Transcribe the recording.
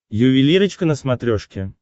ювелирочка на смотрешке